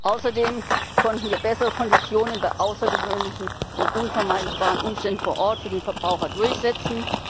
Außerdem konnten wir bessere Konditionen bei außergewöhnlichen und unvermeidbaren Umständen vor Ort für den Verbraucher durchsetzen.